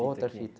Outra fita.